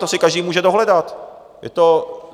To si každý může dohledat.